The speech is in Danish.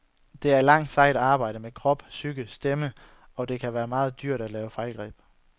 Det er et langt, sejt arbejde med krop, psyke og stemme, og det kan være meget dyrt at lave fejlgreb.